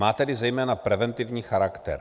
Má tedy zejména preventivní charakter.